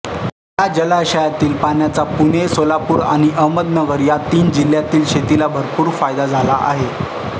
या जलाशयातील पाण्याचा पुणेसोलापूर आणि अहमदनगर या तीन जिल्ह्यांतील शेतीला भरपूर फायदा झाला आहे